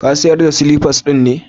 Ka sayar da silifas din ne?